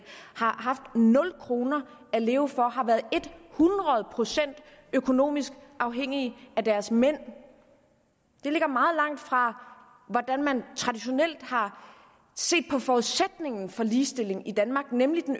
har haft nul kroner at leve for har været et hundrede procent økonomisk afhængige af deres mænd det ligger meget langt fra hvordan man traditionelt har set på forudsætningen for ligestilling i danmark nemlig